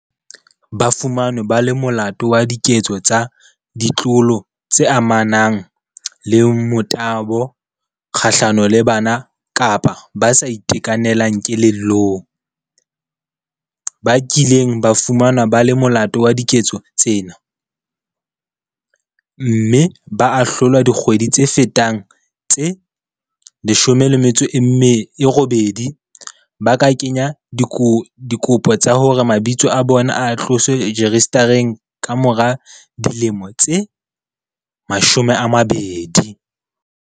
Ba fumanweng ba le molato wa diketso tsa ditlolo tse amanang le motabo kga hlano le bana kapa ba sa itekanelang kelellong, ba kileng ba fumanwa ba le molato wa diketso tsena, mme ba ahlolwa dikgwedi tse fetang tse 18 ba ka kenya dikopo tsa hore mabitso a bona a tloswe rejistareng kamora dilemo tse 20.